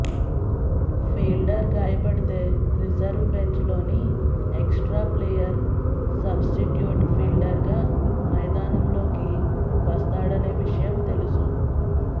fielder గాయపడితే reserve బెంచ్లోని extra player substitute ఫీల్డర్గా మైదానంలోకి వస్తాడనే విషయం తెలుసు